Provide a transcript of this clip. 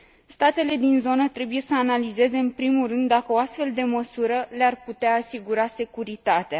Statele din zonă trebuie să analizeze, în primul rând, dacă o astfel de măsură le ar putea asigura securitatea.